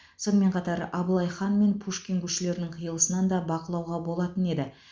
сонымен қатар абылай хан мен пушкин көшелерінің қиылысынан да бақылауға болатын еді